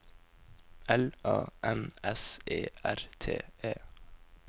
L A N S E R T E